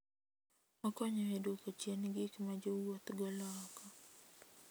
Okonyo e duoko chien gik ma jowuoth golo oko.